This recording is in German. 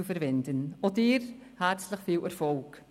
Auch Ihnen wünschen wir herzlich viel Erfolg.